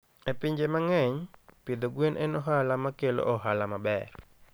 E pinje mang'eny, pidho gwen en ohala makelo ohala maber.